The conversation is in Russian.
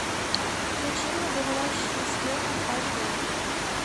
включи мне говорящие с ветром аш дэ